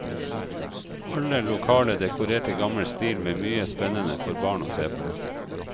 Halve lokalet dekorert i gammel stil med mye spennende for barn å se på.